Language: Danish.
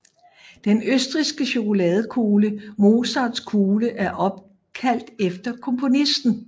Den østrigske chokoladekugle Mozartkugle er opkaldt efter komponisten